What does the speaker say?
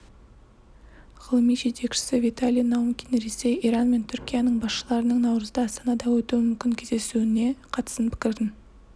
ғылыми жетекшісі виталий наумкин ресей иран мен түркияның басшыларының наурызда астанада өтуі мүмкін кездесуіне қатысты пікірін